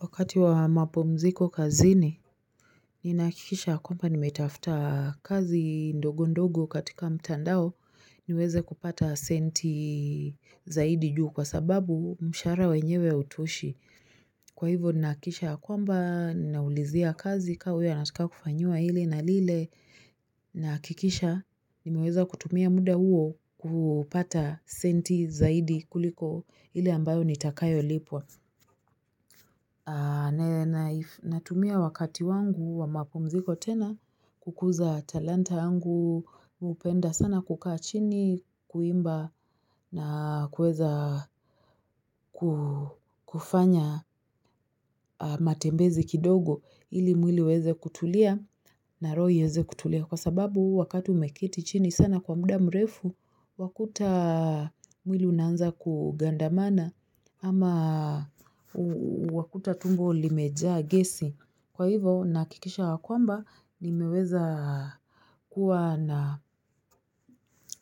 Wakati wa mapumziko kazini, ninahakikisha kwamba nimetafuta kazi ndogo ndogo katika mtandao niweze kupata senti zaidi juu kwa sababu mshahara wenyewe hautoshi. Kwa hivyo ninahakikisha kwamba ninaulizia kazi kama huyu anataka kufanyiwa hili na lile nahakikisha nimeweza kutumia muda huo kupata senti zaidi kuliko ile ambayo nitakayolipwa. Ninatumia wakati wangu wa mapumziko tena kukuza talanta yangu mimi hupenda sana kukaa chini kuimba na kuweza kufanya matembezi kidogo ili mwili uweze kutulia na roho iweze kutulia kwa sababu wakati umeketi chini sana kwa muda mrefu wakuta mwili unaanza kugandamana Ama wakuta tumbo limejaa gesi. Kwa hivyo ninahakikisha ya kwamba nimeweza kuwa na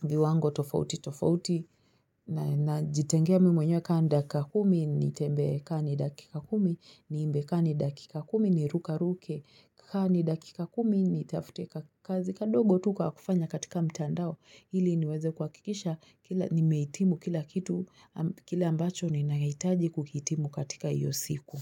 viwango tofauti tofauti ninajitengea mimi mwenyewe kama ni dakika kumi nitembee kama ni dakika kumi niimbe kama ni dakika kumi nirukeruke kama ni dakika kumi nitafute kazi. Kadogo tu kwa kufanya katika mtandao, ili niweze kuhakikisha, nimehitimu kila kitu, kile ambacho ninahitaji kuhitimu katika hiyo siku.